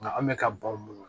Nka an bɛ ka ban